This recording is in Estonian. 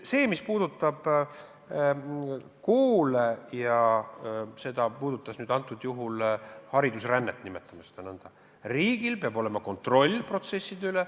Mis puudutab koole – küsimus puudutas haridusrännet, nimetame seda nõnda –, siis riigil peab olema kontroll protsesside üle.